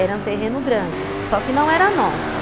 Era um terreno grande, só que não era nosso.